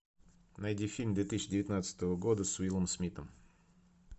найди фильм две тысячи девятнадцатого года с уиллом смитом